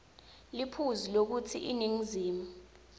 liphuzu lekutsi iningizimu